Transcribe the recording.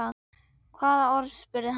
Hvaða orð? spurði hann.